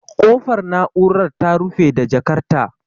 Kofar na'urar ta rufe da jakar ta